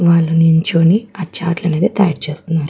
వాళ్ళు నిల్చొని ఆ చార్ట్ లు అనేవి తయ్యారు చేస్తున్నారు.